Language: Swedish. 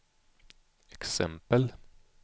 exempel